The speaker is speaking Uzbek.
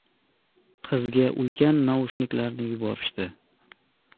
Qizga ulkan naushniklarni yuborishdi.